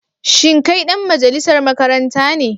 Shin kai dan majalisar makaranta ne?